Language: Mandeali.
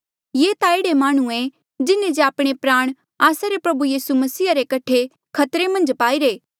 ये ता एह्ड़े माह्णुंऐ जिन्हें जे आपणे प्राण आस्सा रे प्रभु यीसू मसीहा रे कठे खतरे मन्झ पाईरे